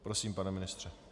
Prosím, pane ministře.